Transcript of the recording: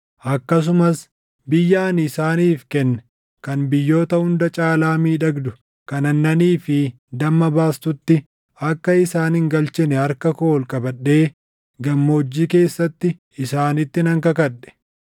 Akkasumas biyya ani isaaniif kenne kan biyyoota hunda caalaa miidhagdu kan aannanii fi damma baastutti akka isaan hin galchine harka koo ol qabadhee gammoojjii keessatti isaanitti nan kakadhe;